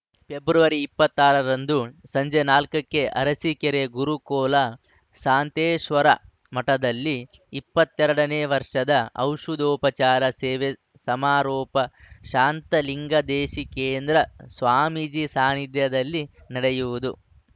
February ಇಪ್ಪತ್ತ್ ಆರರಂದು ಸಂಜೆ ನಾಲ್ಕ ಕ್ಕೆ ಅರಸೀಕೆರೆ ಗುರು ಕೋಲ ಶಾಂತೇಶ್ವರ ಮಠದಲ್ಲಿ ಇಪ್ಪತ್ತ್ ಎರಡನೇ ವರ್ಷದ ಔಷಧೋಪಚಾರ ಸೇವೆ ಸಮಾರೋಪ ಶಾಂತಲಿಂಗದೇಶಿ ಕೇಂದ್ರ ಸ್ವಾಮೀಜಿ ಸಾನ್ನಿಧ್ಯದಲ್ಲಿ ನಡೆಯುವುದು